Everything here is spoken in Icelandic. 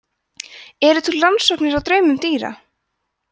eru til rannsóknir á draumum dýra